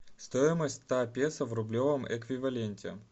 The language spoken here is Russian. стоимость ста песо в рублевом эквиваленте